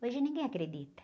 Hoje ninguém acredita.